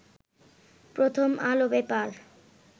প্রথম আলো পেপার